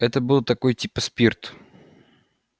это был такой типа спирт